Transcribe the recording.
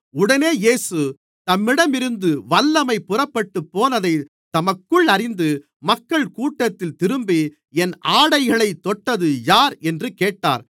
உடனே இயேசு தம்மிடம் இருந்து வல்லமை புறப்பட்டுப் போனதைத் தமக்குள் அறிந்து மக்கள்கூட்டத்தில் திரும்பி என் ஆடைகளைத் தொட்டது யார் என்று கேட்டார்